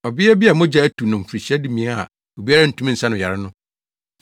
Ɔbea bi a mogya atu no mfirihyia dumien a obiara ntumi nsa no yare no,